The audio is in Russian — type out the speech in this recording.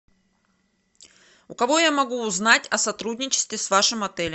у кого я могу узнать о сотрудничестве с вашим отелем